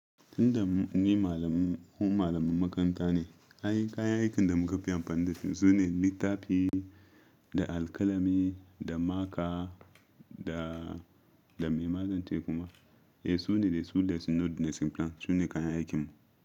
Inda ni malami, mu malaman makaranta ne. Anyi kayan aikin da muka fi amfani dasu sune littafi da alkalami da maka da, da me mazance kuma. Eh su ne dai su da sno da simplant su ne kayan aikin mu.